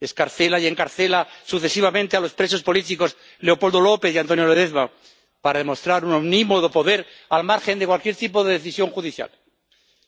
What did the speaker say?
Excarcela y encarcela sucesivamente a los presos políticos Leopoldo López y Antonio Ledezma para demostrar un omnímodo poder, al margen de cualquier tipo de decisión judicial.